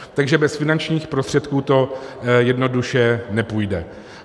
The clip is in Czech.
Takže bez finančních prostředků to jednoduše nepůjde.